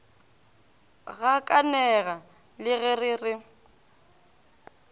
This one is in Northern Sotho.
gakanega le ge re re